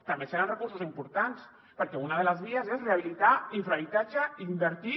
també seran recursos importants perquè una de les vies és rehabilitar infrahabitatge i invertir